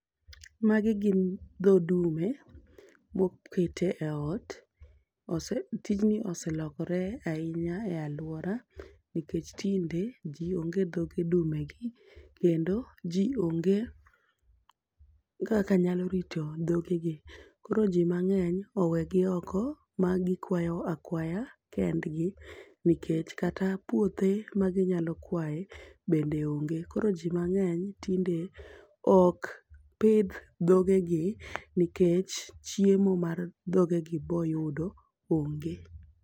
Magi gin dho dume, mokete e ot. Ose tijni oselokore ahinya e alwora nikech tinde ji onge dhoge dume gi, kendo ji onge kaka nyalo rito dhoge gi. Koro ji mang'eny owegi oko ma gikwayo akwaya kendgi nikech kata puothe ma ginyalo kwaye bende onge. Koro ji mang'eny tinde ok pidh dhoge gi nikech chiemo mar dhoge gi boyudo onge.